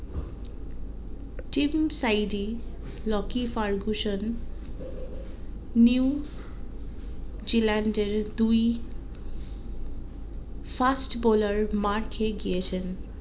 team Southee Lockie Ferguson নিউ জিল্যান্ডের দুই first boller মার্ খেয়েগিয়েছেন